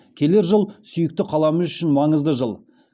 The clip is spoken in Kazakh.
келер жыл сүйікті қаламыз үшін маңызды жыл